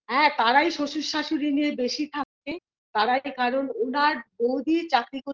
হ্যাঁ তারাই শ্বশুর-শাশুড়ি নিয়ে বেশি থাকে তারাই কারণ উনার বৌদি চাকরি করতে